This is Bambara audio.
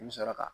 I bi sɔrɔ ka